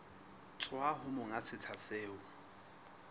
tswa ho monga setsha seo